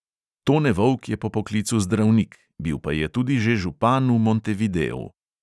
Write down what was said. Tone vovk je po poklicu zdravnik, bil pa je tudi že župan v montevideu.